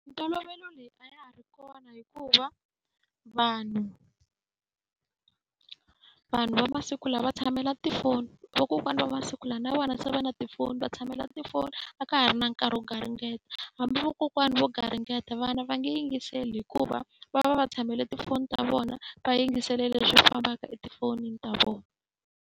Mintolovelo leyi a ya ha ri kona hikuva vanhu vanhu va masiku lawa va tshamela tifoni. Vakokwana va masiku lawa na vona se va na tifoni, va tshamela tifoni a ka ha ri na nkarhi wo garingeta. Hambi vakokwani vo garingeta vana va nge yingiseli hikuva va va va va tshamela tifoni ta vona, va yingisele leswi fanaka etifonini ta vona.